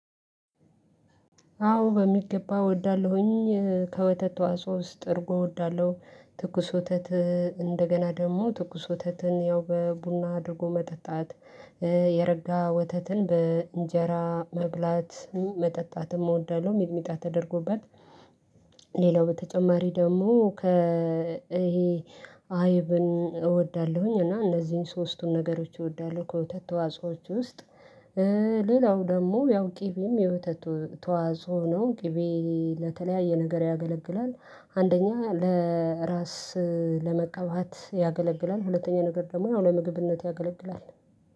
አዎ በሚገባ እወዳለሁኝ ከወተት ተዋጽኦ ውስጥ እርጎ እወዳለሁ ትኩስ ወተት እንደገና ደግሞ ትኩስ ወተትን ያው በቡና አድርጎ መጠጣት የረጋ ወተትን በእንጀራ መብላት መጠጣትም እወዳለሁ። ሚጥሚጣ ተደርጎበት። ሌላው በተጨማሪ ደግሞ ከ ይሄ አይብን እወዳለሁኝ እና እነዚህን ሶስቱን ነገሮች እወዳለሁ። ከወተት ተዋጽዎች ውስጥ። ሌላው ደግሞ ያው ቂቤም የወተት ተዋጾ ነው ቅቤ ለተለያየ ነገር ያገለግላል። አንደኛ ለ እራስ ለመቀባት ያገለግላል። ሁለተኛ ነገር ደግሞ ያው ለምግብነት ያገለግላል